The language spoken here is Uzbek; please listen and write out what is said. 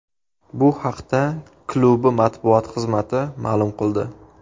Bu haqda klubi matbuot xizmati ma’lum qildi .